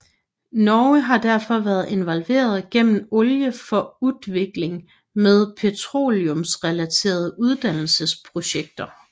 Norge har derfor været involveret gennem Olje for utvikling med petroleumsrelaterede uddannelsesprojekter